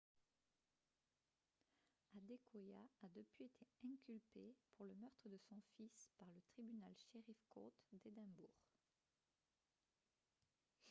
adekoya a depuis été inculpée pour le meurtre de son fils par le tribunal sheriff court d'édimbourg